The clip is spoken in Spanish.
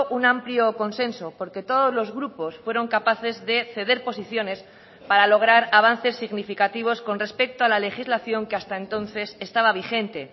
un amplio consenso porque todos los grupos fueron capaces de ceder posiciones para lograr avances significativos con respecto a la legislación que hasta entonces estaba vigente